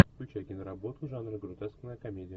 включай киноработу жанра гротескная комедия